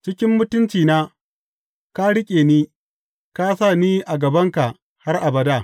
Cikin mutuncina ka riƙe ni ka sa ni a gabanka har abada.